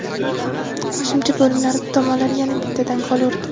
Qo‘shimcha bo‘limlarda tomonlar yana bittadan gol urdi.